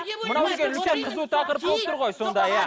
мынау бізге үлкен қызу тақырып болып тұр ғой сонда иә